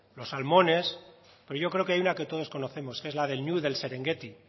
los salmones pero yo creo que hay una que todos conocemos que es la del ñu del serengueti